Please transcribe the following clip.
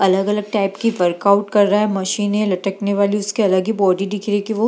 अलग-अलग टाइप की वर्कआउट कर रहा है मशीनें लटकने वाली उसकी अलग ही बॉडी दिख रही है की वो --